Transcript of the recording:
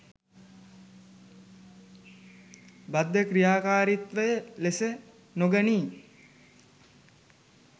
බද්ධ ක්‍රියාකාරීත්වය ලෙස නොගනී